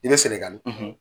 I bɛ Sɛnɛgali